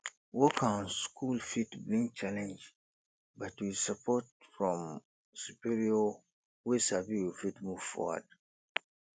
work and school fit bring challenge but with support from superior wey sabi we fit move foward